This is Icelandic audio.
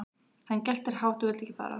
Hann geltir hátt og vill ekki fara.